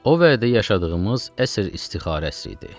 O vədə yaşadığımız əsr istixarəsi idi.